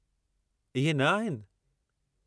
इहे न आहिनि?